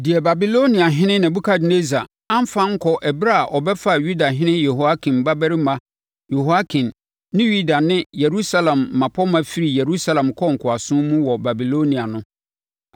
Deɛ Babiloniahene Nebukadnessar amfa ankɔ ɛberɛ a ɔbɛfaa Yudahene Yehoiakim babarima Yehoiakin ne Yuda ne Yerusalem mmapɔmma firii Yerusalem kɔɔ nkoasom mu wɔ Babilonia no.